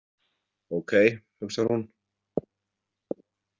Ókei, hugsar hún.